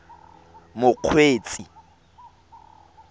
mokgweetsi